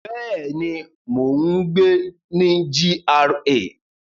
Bẹ́ẹ̀ni, mo n gbé ní GRA